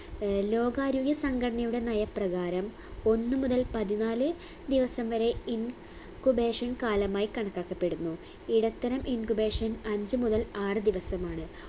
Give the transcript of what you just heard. ഏർ ലോകാരോഗ്യ സംഘടനയുടെ നയപ്രകാരം ഒന്ന് മുതൽ പതിനാല് ദിവസം വരെ in cubation കാലമായി കണക്കാക്കപ്പെടുന്നു ഇടത്തരം incubation അഞ്ചു മുതൽ ആറ് ദിവസമാണ്